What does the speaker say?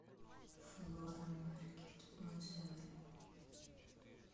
флора маркет отзывы